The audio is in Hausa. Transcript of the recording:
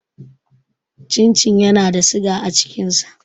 Cin cin yana da siga a cikin sa.